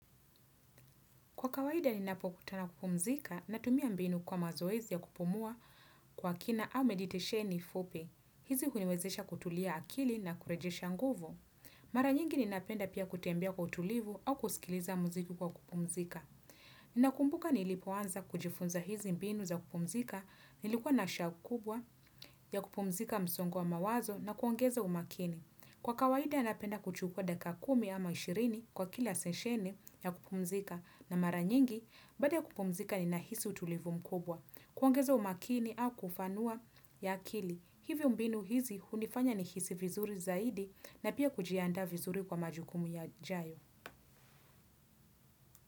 Kwa kawaida ninapokutana kupumzika natumia mbinu kwa mazoezi ya kupumua kwa kina au meditesheni fupi. Hizi huniwezesha kutulia akili na kurejesha nguvu. Mara nyingi ninapenda pia kutembea kwa utulivu au kusikiliza muziki kwa kupumzika. Ninakumbuka nilipoanza kujifunza hizi mbinu za kupumzika nilikuwa na shauku kubwa ya kupumzika msongo wa mawazo na kuongeza umakini. Kwa kawaida napenda kuchukua dakika kumi ama ishirini kwa kila sesheni ya kupumzika na mara nyingi baada ya kupumzika ninahisi utulivu mkubwa. Kuongeza umakini au kufanua ya akili. Hivyo mbinu hizi hunifanya nihisi vizuri zaidi na pia kujiandaa vizuri kwa majukumu yajayo.